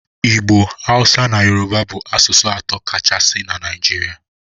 Igbo, Hausa na Yoruba bụ asụsụ atọ kachasị na Naịjirịa.